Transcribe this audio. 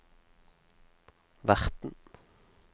verten